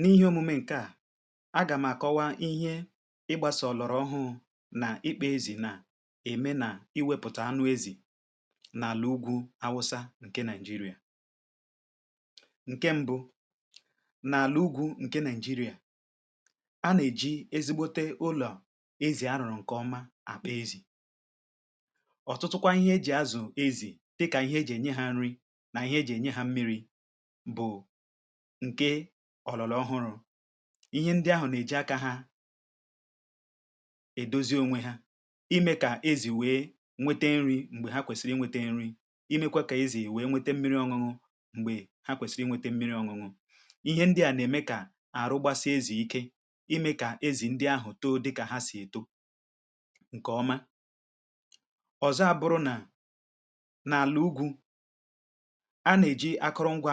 n’ihe omume ǹkè a um agàm àkọwa ihe ịgbasa òlọ̀rọ̀ ọhụụ nà ikpȧ ezì nà ème nà iwėpụ̀tà anụ ezì nà-àlà ugwu awụsa ǹke Nigeria um ǹke mbụ nà-àlà ugwu ǹke nigeria a nà-èji ezigbote ulọ̀ ezì a rùrù ǹkè ọma àkpa ezì ọ̀tụtụkwa ihe e jì azụ̀ ezì dịkà ihe e jì ènye ha nri nà ihe e jì ènye ha mmiri̇ ǹke ọ̀lọ̀lọ̀ ọhụrụ̇ ihe ndị ahụ̀ nà-èji akȧ ha edozi onwe ha ime kà ezì wee nwete nri̇ m̀gbè ha kwèsiri nwete nri̇ imekwa kà ezì wee nwete mmi̇ri̇ ọ̇ṅụ̇ṅụ̇ m̀gbè ha kwèsiri nwete mmi̇ri̇ ọ̇ṅụ̇ṅụ̇ ihe ndị à nà-ème kà àrụgbasi ezì ike ime kà ezì ndị ahụ̀ too dịkà ha sì èto um ǹkè ọma ọ̀zọ a bụrụ nà nà-àlà ugwu a nà-èji akụrụngwa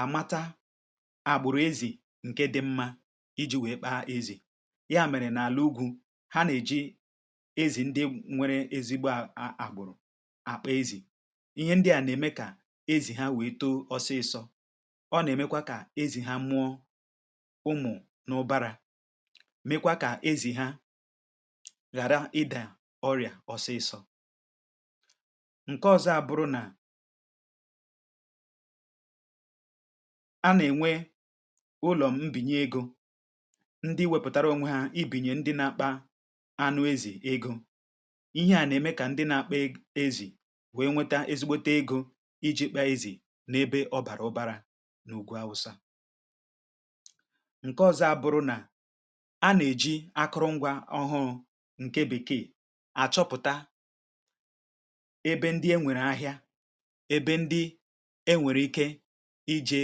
àmata àgbụ̀rụ̀ ezì ǹke dị mmȧ iji̇ wèe kpaa ezì ya mèrè n’àlà ugwu̇ ha nà-èji ezì ndị nwere ezigbo àgbụ̀rụ̀ àkpọ̇ ezì ihe ndị à nà-ème kà ezì ha wèe too ọsịịsọ̇ ọ nà-èmekwa kà ezì ha nụọ ụmụ̀ n’ụ̀bàrà mekwa kà ezì ha ghàra ịdà ọrị̀à ọsịịsọ̇ a nà-ènwe ụlọ̀ m mbìnye egȯ ndi wèpụ̀tara onwe ha i bìnyè ndi na-akpa anụ ezì egȯ ihẹ à nà-ème kà ndi na-akpa ezì wèe nweta ezigbote egȯ iji̇ kpa ezì n’ebe ọ bàrà ụbȧrȧ n’ògwù awụsa ǹke ọzọ abụrụ nà a nà-èji akụrụngwȧ ọhụrụ ǹke bìkeè àchọpụ̀ta ebe ndi e nwèrè ahịȧ ejė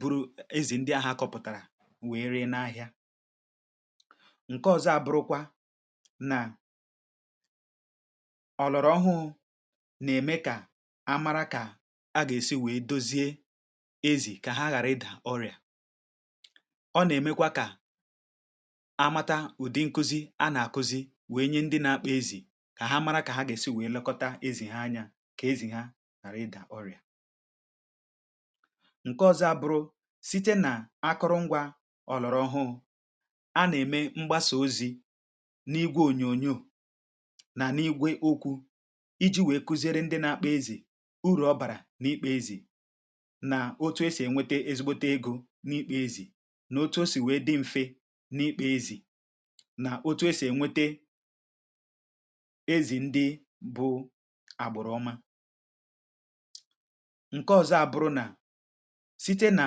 buru ezì ndị ahụ̇ akọ̇pụ̀tàrà wèe ree n’ahịa ǹke ọzọ abụrụkwa nà ọ̀lọ̀rọ̀ ọhụụ̇ nà-ème kà a mara kà a gà-èsi wèe dozie ezì kà ha ghàra ịdà ọrịà um ọ nà-èmekwa kà amata ụ̀dị nkuzi a nà-àkuzi wèe nye ndị nȧ-ȧkpụ ezì kà ha mara kà ha gà-èsi wèe lekọta ezì ha anyȧ kà ezì ha ghàra ịdà ọrịà ǹke ọ̀zọ abụrụ site nà akụrụngwȧ ọ̀lọ̀rọ̀ hụ a nà-ème mgbasà ozi̇ n’igwė ònyònyò nà n’igwė okwu̇ iji̇ wèe kụziere ndị nȧ-akpȧ ezì urù ọ bàrà n’ikpȧ ezì nà otu esì ènwete ezigbote egȯ n’ikpȧ ezì nà otu o sì wèe dị mfe n’ịkpȧ ezì nà otu esì ènwete ezì ndị bụ àgbụ̀rụ̀ma site nà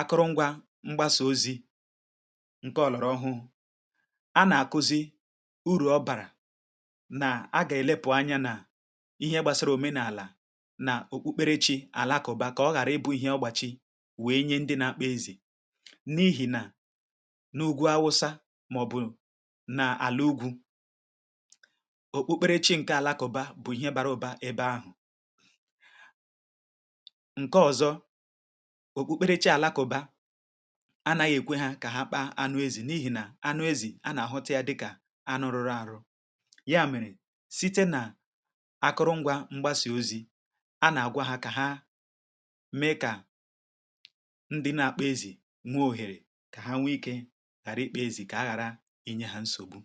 akụrụngwȧ mgbasà ozi̇ ǹkẹ ọlụ̀rụ̀ ọhụhụ a nà-àkụzi urù ọ bàrà nà a gà-èlepù anya nà ihe gbasara òmenàlà nà okpukperechì àlakụ̀ba kà ọ ghàra ịbụ̇ ihẹ ọgbachi wèe nye ndị nȧ-akpụ ezì n’ihì nà n’ugwu awụsa um màọ̀bụ̀ nà àlà ugwù okpukperechì ǹkẹ àlakụ̀ba bụ̀ ihe bara ụbȧ ebe ahụ̀ ǹke ọ̀zọ òkpukperechi àlakụ̇bȧ anaghị èkwe ha kà ha kpa anụ ezì n’ihi nà anụ ezì a nà-àhụta yȧ dịkà anụ rụrụ àrụ ya mèrè site nà akụrụngwa mgbasà ozi̇ a nà-àgwa ha kà ha mee kà ndị nà-àkpa ezì nwee òhèrè kà ha nwe ikė ghara ịkpọ ezì kà aghara inye hȧ nsògbu um